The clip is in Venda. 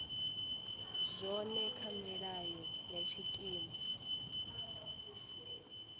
zwone kha milayo ya tshikimu